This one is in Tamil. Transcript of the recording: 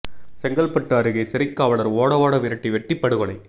செங்கல்பட்டு அருகே சிறைக் காவலர் ஓட ஓட விரட்டி வெட்டி படுகொலை